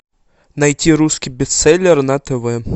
найти русский бестселлер на тв